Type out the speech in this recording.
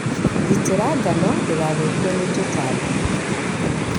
Gitĩra ngano ndĩgathokio ni tũtambi.